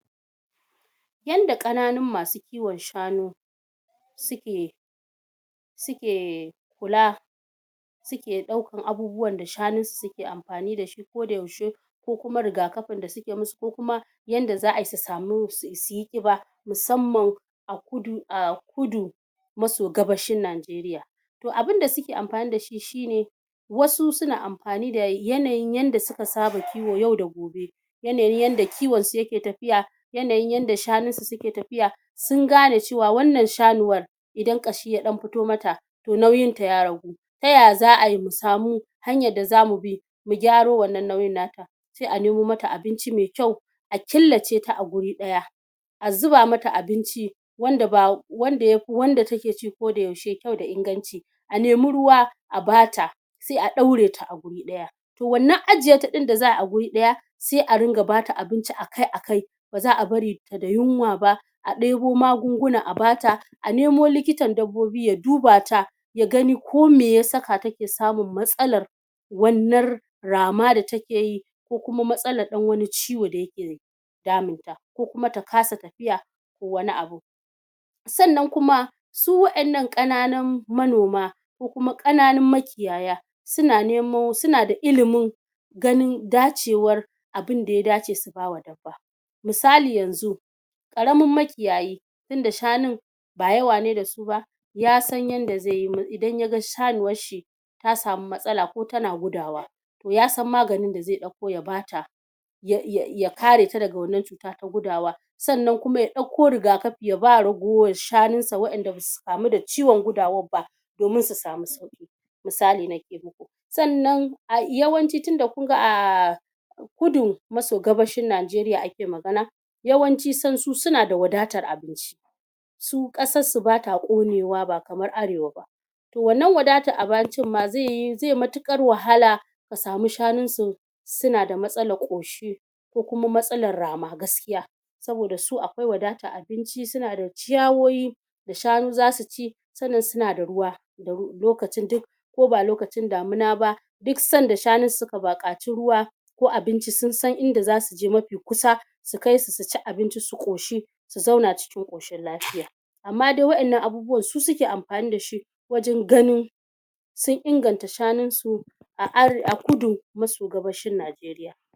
Yanda ƙananun masu kiwon shanu suke suke kula suke ɗaukan abubuwan da shanunsu suke ampani dashi koda yaushe ko kuma rigakapin da suke musu ko kuma yanda za'ayi samu su suyi ƙiba musamman a kudu a kudu maso gabashin Najeriya. Toh abinda suke ampani da shi shine wasu suna ampani da yanayin yanda suka saba kiwo yau da gobe yanayin yanda kiwon su yake tapiya, yanayin yanda shanunsu suke tapiya, sun gane cewa wannan shanuwar idan ƙashi ya ɗan pito mata toh nauyinta ya ragu. Tayaya za'ayi mu samu hanyar da zamu bi mu gyaro wannan nauyin nata? Se a nemo mata abinci mai ƙyau a killaceta a guri ɗaya a zuba mata abinci wanda ba wanda yapi wanda ta ke ci koda yaushe ƙyau da inganci a nemi ruwa a bata se a ɗaureta a guri ɗaya. Toh wannan ajiyeta ɗin da za'ayi a guri ɗaya se a ringa bata abinci a kai a kai ba za'a bari ta da yunwa ba a ɗebo magunguna a bata a nemo likitan dabbobi ya duba ta ya gani ko me ya saka take samun matsalar wannar rama da ta ke yi ko kuma matsalar ɗan wani ciwo da yake, damun ta ko kuma ta kasa tapiya, ko wani abun. Sannan kuma su wa'innan ƙananun manoma ko kuma ƙananun makiyaya suna nemo suna da ilimin ganin dacewar abinda ya dace su bawa dabba misali yanzu, ƙaramin makiyayi tinda shanun ba yawa ne da su ba ya san yanda zeyi idan yaga shanuwar shi ya samu matsala ko tana gudawa ya san maganin da ze ɗauko ya bata ya ya ya kareta daga wannan cuta ta gudawa. Sannan kuma ya ɗauko rigakapi ya ba ragowar shanunsa wa'inda basu kamu da ciwon gudawar ba domin su samu sauƙi, misali nake muku. Sannan a yawanci tinda kunga ah kudu maso gabashin Najeriya ake magana yawanci sansu suna da wadatar abinci su ƙasar su bata ƙonewa ba kamar arewa ba toh wannan wadatar abancin ma zeyi ze matuƙar wahala ka samu shanunsu suna da matsalar ƙoshi ko kuma matsalar rama gaskiya saboda su akwai wadatar abinci suna da ciyawoyi da shanu zasu ci sannan suna da ruwa da lokacin duk ko ba lokacin damuna ba duk sanda shanunsu suka baƙaci ruwa ko abinci sunsan inda za suje mapi kusa su kaisu suci abinci su ƙoshi su zauna cikin ƙoshin lapiya. Amma dai wa'innan abubuwan su suke ampani dashi wajan ganin sun inganta shanunsu a are a kudu maso gabashin Najeriya.